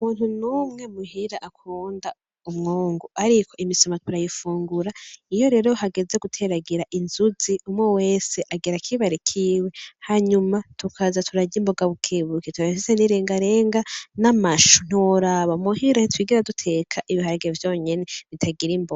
Nta muntu numwe muhira akunda umwungu, ariko imisoma turayifungura iyo rero hageze guteragira inzuzi umwe wese agira akibare kiwe hanyuma tukaza turarya imboga bukebuke, turafise n'irengarenga n'amashu ntiworaba, muhira ntitwigera duteka ibiharage vyonyene bitagira imboga.